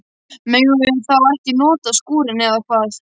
Megum við þá ekki nota skúrinn, eða hvað?